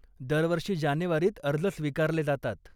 दरवर्षी जानेवारीत अर्ज स्वीकारले जातात.